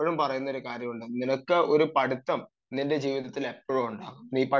പലരും പറയുന്ന ഒരു കാര്യമുണ്ട് നിനക്ക് ഒരു പഠിത്തം നിന്റെ ജീവിതത്തിൽ എപ്പോഴും ഉണ്ടാവണം